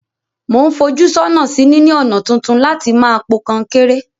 Mo n fojú sónà sí níní ònà tuntun láti ma po kankéré